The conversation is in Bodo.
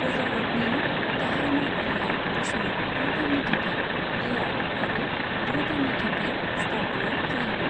वजारतनि गाहाय मावखुलिया बोसोराव द' दाननि थाखाय लेहआव आरो द' दाननि थाखाय स्कार्दूआव जायोमोन।